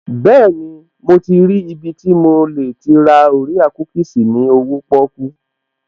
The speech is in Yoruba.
Bẹ́ẹ̀ni, mo ti rí ibi tí mo lè ti ra orea kúkìsì ní owóo pọ́kú